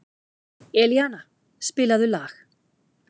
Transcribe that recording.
Elíana, spilaðu lag.